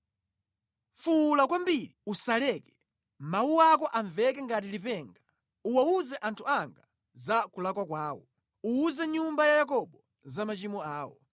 “Fuwula kwambiri, usaleke. Mawu ako amveke ngati lipenga. Uwawuze anthu anga za kulakwa kwawo; uwuze nyumba ya Yakobo za machimo awo.